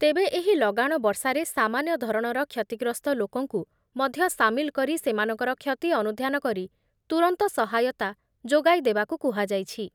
ତେବେ ଏହି ଲଗାଣ ବର୍ଷାରେ ସାମାନ୍ୟ ଧରଣର କ୍ଷତିଗ୍ରସ୍ତ ଲୋକଙ୍କୁ ମଧ୍ୟ ସାମିଲ କରି ସେମାନଙ୍କର କ୍ଷତି ଅନୁଧ୍ୟାନ କରି ତୁରନ୍ତ ସହାୟତା ଯୋଗାଇଦେବାକୁ କୁହାଯାଇଛି ।